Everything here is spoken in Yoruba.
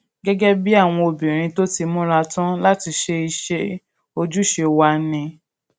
gégé bí àwọn obìnrin tó ti múra tán láti ṣe iṣé ojúṣe wa ni